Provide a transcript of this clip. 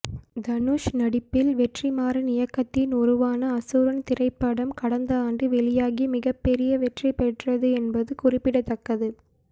தனுஷ் நடிப்பில் வெற்றிமாறன் இயக்கத்தில் உருவான அசுரன் திரைப்படம் கடந்த ஆண்டு வெளியாகி மிகப்பெரிய வெற்றி பெற்றது என்பது குறிப்பிடத்தக்கது